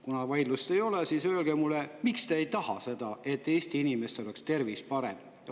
Kuna vaidlust ei ole, siis öelge mulle, miks te ei taha, et Eesti inimestel oleks tervis parem.